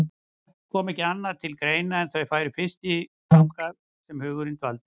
Það kom ekki annað til greina en að þau færu fyrst þangað sem hugurinn dvaldi.